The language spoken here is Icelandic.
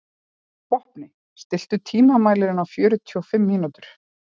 Vopni, stilltu tímamælinn á fjörutíu og fimm mínútur.